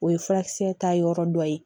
O ye furakisɛ ta yɔrɔ dɔ ye